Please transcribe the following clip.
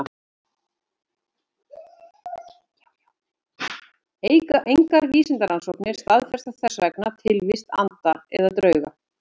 Engar vísindarannsóknir staðfesta þess vegna tilvist anda eða drauga.